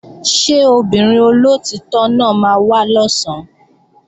Ṣé obìnrin olóòtítọ́ náà máa wá lọ̀sán?